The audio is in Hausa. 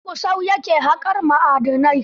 A garin Gusau ya ke haƙar ma'adanai.